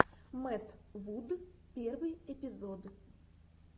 мэтт вуд первый эпизод